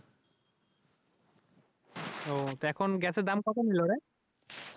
তো এখন গ্যাসের দাম কত নিলরে?